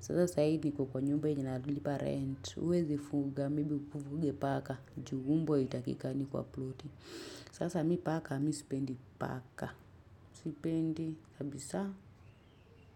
Sasa saa hii niko nyumba yenye nalipa rent. Huwezi fuga, maybe ufuge paka. Juu mbwa haitakikani kwa ploti. Sasa mimi paka, mimi sipendi paka. Sipendi, kabisa.